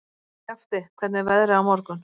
Skafti, hvernig er veðrið á morgun?